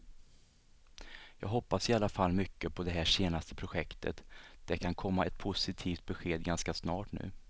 Jag hoppas i alla fall mycket på det här senaste projektet, det kan komma ett positivt besked ganska snart nu.